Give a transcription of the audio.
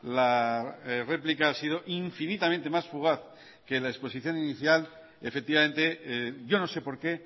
la réplica ha sido infinitamente más fugaz que la exposición inicial efectivamente yo no sé por qué